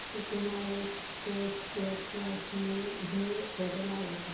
सकुमा exports share price मध्ये बदल आलाय का